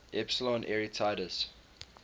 epsilon arietids